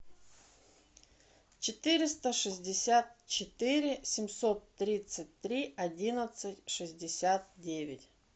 четыреста шестьдесят четыре семьсот тридцать три одиннадцать шестьдесят девять